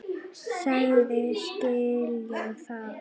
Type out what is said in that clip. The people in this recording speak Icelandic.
Sagðist skilja það.